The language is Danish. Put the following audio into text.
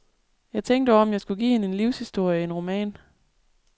Jeg tænkte over, om jeg skulle give hende en livshistorie, en roman.